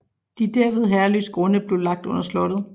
De derved herreløse grunde blev lagt under slottet